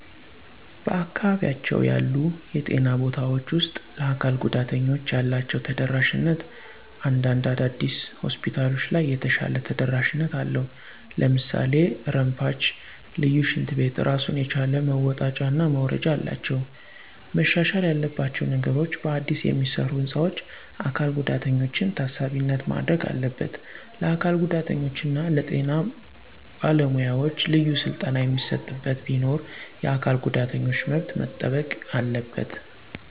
በአካባቢያቸው ያሉ የጤና ቦታውች ውስጥ ለአካል ጉዳተኞች ያላችው ተደራሽነት እንዳንድ አዳዲስ ሆስፒታሎች ለይ የተሻለ ተደረሽነት አለው ለምሳሌ ረምፓች፣ ልዪ ሽንት ቤት ራሱን የቻለ መወጣጨና መውረጃ አላቸው። መሻሻል ያለባቸው ነገሮች በአዲስ የሚሰሩ ህንፃዎች አካል ጉዳተኛችን ታሳቢነት ማድረግ አለበት፣ ለአካል ጉዳተኛ እና ለጤና በለ ሙያዎች ልዩ ስልጠና የሚሰጥበት ቢኖር፣ የአካል ጉዳተኞች መብት መጠበቅ አለበት።